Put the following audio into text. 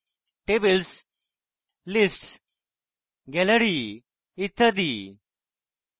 tables lists gallery ইত্যাদি